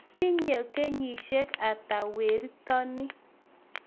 Itinye kenyishiek ata wertoni?